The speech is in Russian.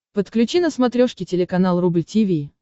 подключи на смотрешке телеканал рубль ти ви